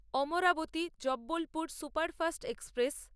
Amaravati Jabalpur superfast express